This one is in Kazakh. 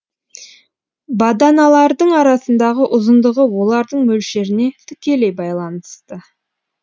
баданалардың арасындағы ұзындығы олардың мөлшеріне тікелей байланысты